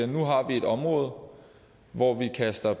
nu har vi et område hvor vi kaster